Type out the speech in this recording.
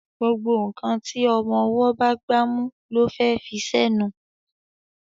gbógbó nkán tí ọmọ ọwo bá gbámú ló fé fí ṣe nù